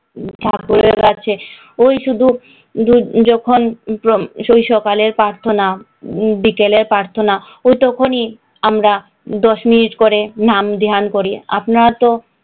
ঠাকুরের কাছে, ওই শুধু দু যখন ওই সকালের প্রার্থনা বিকেলের প্রার্থনা, ওই তখনই আমরা দশ মিনিট করে নাম ধ্যান করি আপনারা তো,